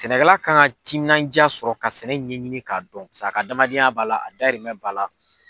Sɛnɛkɛla kan ka timinanjaa sɔrɔ ka sɛnɛ ɲɛɲini k'a dɔn a ka adamadenya b'a la a dayirimɛn b'a la.